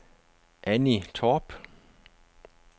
Anni Torp